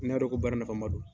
Ne y'a dɔn ko baara nafama don.